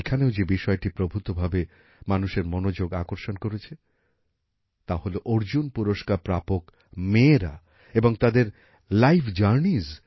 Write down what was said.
এখানেও যে বিষয়টি প্রভূতভাবে মানুষের মনোযোগ আকর্ষণ করেছে তা হলো অর্জুন পুরস্কার প্রাপক মেয়েরা এবং তাদের লাইফ জার্নিস